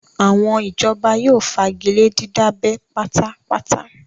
Àwọn ìjọba yóò fagilé dídábẹ́ pátá pátá